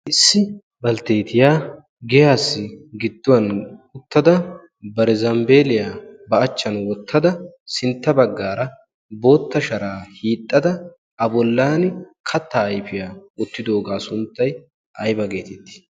issi baltteetiyaa geaassi gidduwan uttada barizanbbeeliyaa ba achchan wottada sintta baggaara bootta sharaa hiixxada a bollan kattaa ayfiyaa ottidoogaa sunttay ayba geetittii